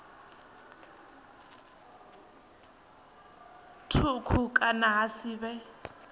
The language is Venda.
thukhu kana ha si vhe